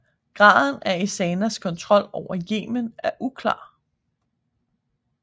Graden af Ezanas kontrol over Yemen er uklar